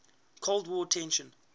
cold war tensions